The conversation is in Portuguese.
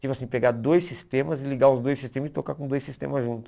Tipo assim, pegar dois sistemas e ligar os dois sistemas e tocar com dois sistemas juntos.